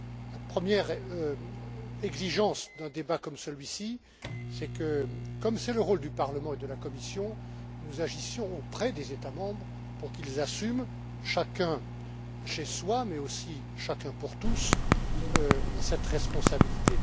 La première exigence d'un débat comme celui ci, c'est le rôle du Parlement et de la Commission, est que nous agissions auprès des États membres pour qu'ils assument, chacun chez soi mais aussi chacun pour tous, cette responsabilité.